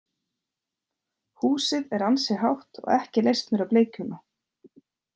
Húsið er ansi hátt og ekki leist mér á blikuna.